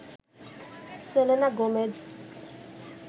Selena Gomez